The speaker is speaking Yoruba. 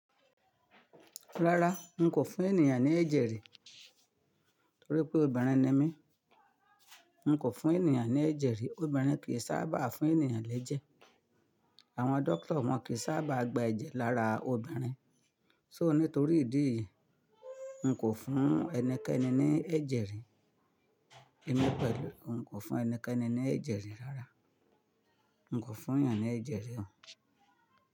Rárá, n kò fún ènìyàn ní ẹ̀jẹ̀ rí torí pé obìnrin ni mí. N kò fún ènìyàn ní ẹ̀jẹ̀ rí, obìnrin kì í sábà fún ènìyàn lẹ́jẹ̀. Àwọn dọ́kítà wọn kì í sábà gba ẹ̀jẹ̀ lára obìnrin. So nítorí ìdí yìí, n kò fún ẹnikẹ́ni ní ẹ̀jẹ̀ rí. Èni pẹ̀lú, n kò fún ẹnikẹ́ni ní ẹ̀jẹ̀ rí rárá. N kò fún ènìyàn ní ẹ̀jẹ̀ rí o.